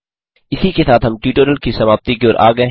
इसी के साथ हम ट्यूटोरियल की समाप्ति की ओर आ गये हैं